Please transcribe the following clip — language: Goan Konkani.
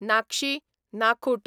नाकशी, नाखूट